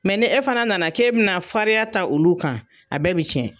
Mɛ ni e fana nana kɛ bɛna fariya ta olu kan a bɛɛ bɛ tiɲɛ.